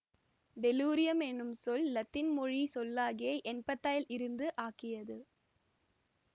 tellurium என்னும் சொல் இலத்தீன் மொழி சொல்லாகிய என்ப்தைல் இருந்து ஆக்கியது